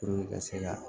ka se ka